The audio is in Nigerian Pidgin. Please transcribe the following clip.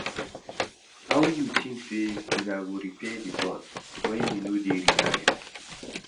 How you tink sey una go repair di bond wen you no dey reliable?